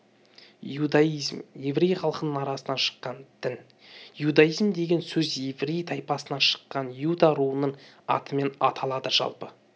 иудаизм еврей халқының арасынан шыққан дін иудаизмдеген сөз еврей тайпасынан шыққан иуда руының атымен аталады жалпы